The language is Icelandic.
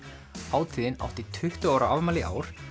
hátíðin átti tuttugu ára afmæli í ár